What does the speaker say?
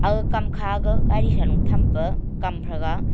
aga kamkha ga gari shalo thampa kam thraga.